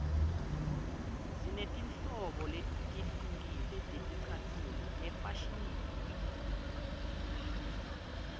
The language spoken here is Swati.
sinetinhlobo letihlukile teticatfulo efashinini